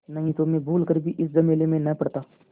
नहीं तो मैं भूल कर भी इस झमेले में न पड़ता